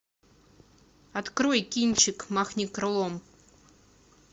открой кинчик махни крылом